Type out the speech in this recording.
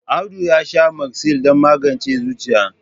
Audu ya sha Magsil don magance zuciya.